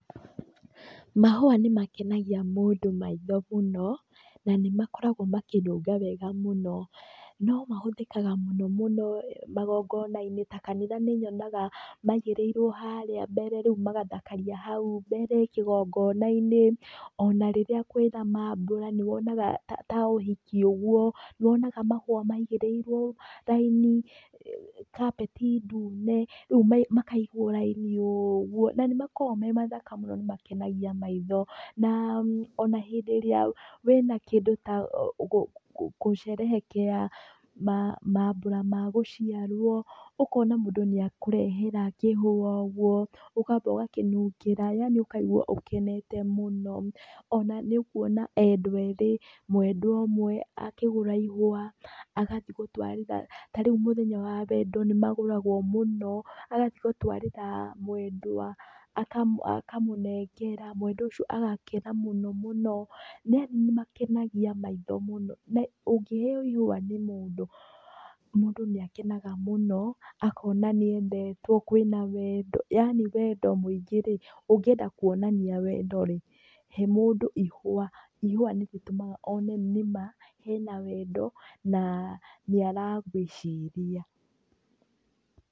Mahũa nĩ makenagia mũndũ maitho mũno, na nĩ makoragwo makĩnunga wega mũno. No mahũthĩkaga mũno mũno magongona-inĩ ta kanitha nĩ nyonaga maigĩrĩirwo harĩa mbere, rĩu magathakaria hau mbere kĩgongona-inĩ, ona rĩrĩa kwĩna maambura nĩ wonaga ta ũhiki ũguo, nĩ wonaga mahũa maigĩrĩirwo raini, kapeti ndune, rĩu makaigwo raini ũguo. Na nĩ makoragwo me mathaka mũno nĩ makenagia maitho. Na ona hĩndĩ ĩrĩa wĩna kĩndũ ta gũcerehekea maambura ma gũciarwo, ũkona mũndũ nĩ akũrehere kĩhũa ũguo, ũkamba ũgakĩnungĩra, yaani ũkaigua ũkenete mũno. Ona nĩ ũkuona endwa eerĩ, mwendwa ũmwe akĩgũra ihũa, agathi gũtwarĩra. Ta rĩu mũthenya wa wendo nĩ magũragwo mũno, agathi gũtwarĩra mwendwa, akamũnengera, mwendwa ũcio agakena mũno mũno. Yaani nĩ makenagia maitho mũno. Na ũnghĩeo ihũa nĩ mũndũ, mũndũ nĩ akenaga mũno, akona nĩ endetwo, kwĩna wendo, yaani wendo mũingĩ rĩ. Ũngĩenda kuonania wendo rĩ he mũndũ ihũa. Ihũa nĩ rĩtũmaga one nĩma hena wendo, na nĩ aragwĩciria.